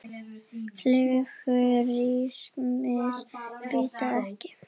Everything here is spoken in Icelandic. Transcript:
Flugur rykmýs bíta ekki.